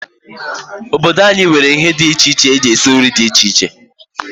Obodo anyi nwere ihe di iche eji esi nri di iche iche.